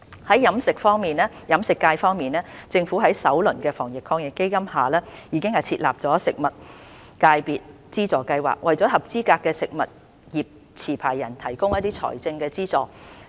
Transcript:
在飲食業界方面，政府在首輪的防疫抗疫基金下已設立食物業界別資助計劃，為合資格食物業持牌人提供財政資助。